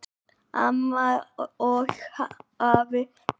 Amma og afi byrjuðu að búa og áttu eftir að fara á milli margra bæja.